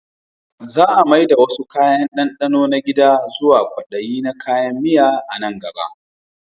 Za a mai da wasu kayan dandano na gida zuwa kwadaye na kayan miya a nan gaba